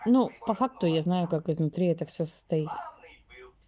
ну по факту я знаю как изнутри это все состоит